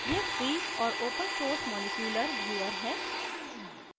यह free और open source molecular viewer है